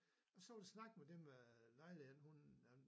Og så var der snak med dem med lejlighed hun øh